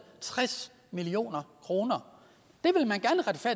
tres million kroner